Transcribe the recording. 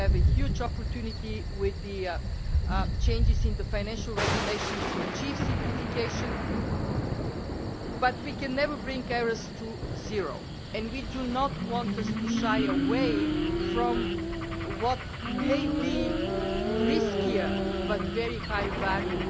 We have a huge opportunity with the changes in the Financial Regulation to achieve simplification, but we can never bring errors to zero, and we do not want us to shy away from what may be riskier but very high value